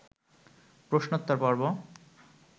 প্রশ্নোত্তর-পর্ব